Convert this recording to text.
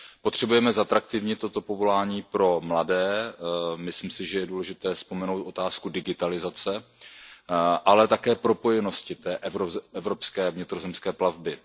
Potřebujeme zatraktivnit toto povolání pro mladé, myslím si, že je důležité vzpomenout otázku digitalizace, ale také propojenosti té evropské vnitrozemské plavby.